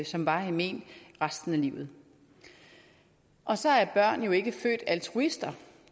som varige men resten af livet og så er børn jo ikke født altruister